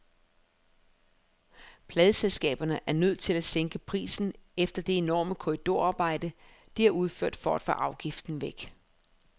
Pladeselskaberne er nødt til at sænke prisen efter det enorme korridorarbejde, de har udført for at få afgiften væk.